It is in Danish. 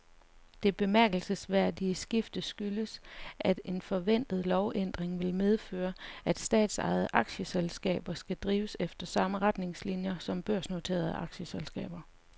Det bemærkelsesværdige skifte skyldes, at en forventet lovændring vil medføre, at statsejede aktieselskaber skal drives efter samme retningslinier som børsnoterede aktieselskaber.